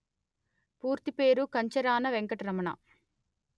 పూర్తిపేరు Kancharana Venkataramana